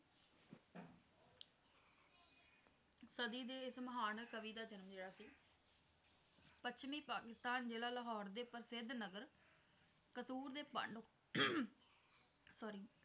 ਸਦੀ ਦੇ ਵਿੱਚ ਮਹਾਨ ਕਵੀ ਦਾ ਜਨਮ ਲਿਆ ਸੀ ਪੱਛਮੀ ਪਾਕਿਸਤਾਨ ਦੇ ਜਿਲ੍ਹਾ ਲਾਹੌਰ ਦੇ ਪ੍ਰਸਿੱਧ ਨਗਰ ਕਸੂਰ ਦੇ ਪਾਂਡੂ sorry